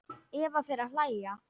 Eva fer að hlæja.